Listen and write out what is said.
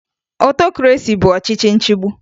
Otokresi bụ ọchịchị nchigbu